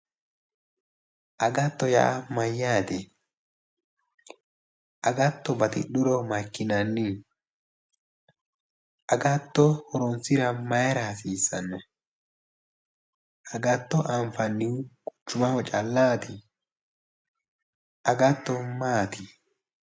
Agatto yaa mayyaate? Agatto batidhuro maikkinanni? Agatto horoonsira mayira hasiissanno? Agatto anfannihu maaho callaati? Agatto maati?